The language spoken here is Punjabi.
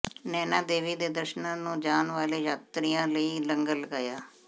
ਨੈਣਾਂ ਦੇਵੀ ਦੇ ਦਰਸ਼ਨਾਂ ਨੂੰ ਜਾਣ ਵਾਲੇ ਯਾਤਰੂਆਂ ਲਈ ਲੰਗਰ ਲਗਾਇਆ